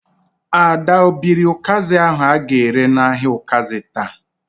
Ada o biri ụkazi ahu a ga-ere n"ahia ukazi taa?